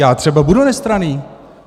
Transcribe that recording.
Já třeba budu nestranný.